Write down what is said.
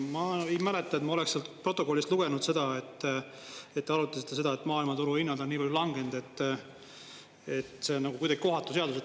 Ma ei mäleta, et ma oleks sealt protokollist lugenud seda, et te arutasite seda, et maailmaturu hinnad on nii palju langenud, et see on nagu kuidagi kohatu seadus.